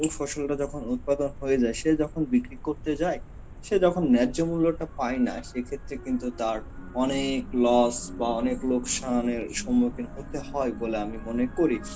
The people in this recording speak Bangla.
ওই ফসলটা যখন উৎপাদন হয়ে যায়, সে যখন বিক্রি করতে যায়, সে তখন ন্যায্য মূল্য তা পায় না. সে ক্ষেত্রে কিন্তু তার অনেক loss বা অনেক লোকশানের সম্মুখীন হতে হয় বলে আমি মনে করি.